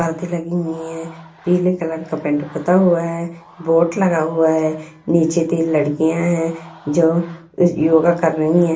पर्दे लगी हुई है पीले कलर का पेंट पुता हुआ है बोर्ड लगा हुआ है नीचे तीन लड़कियां है जो यो-योगा कर रही हैं।